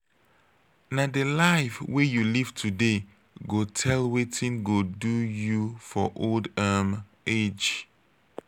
na di life wey you live today go tell wetin go do you for old um age.